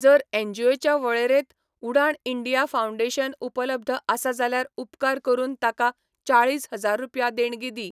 जर एनजीओच्या वळेरेंत उडाण इंडिया फाउंडेशन उपलब्ध आसा जाल्यार उपकार करून ताका चाळीस हजार रुपया देणगी दी.